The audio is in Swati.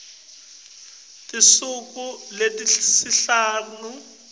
tinsuku letisihlanu ngemva